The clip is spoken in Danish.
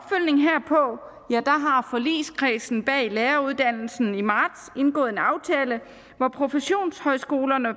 forligskredsen bag læreruddannelsen i marts indgået en aftale hvor professionshøjskolerne